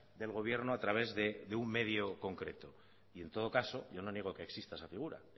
del gobierno a través de un medio concreto y en todo caso yo no niego que exista esa figura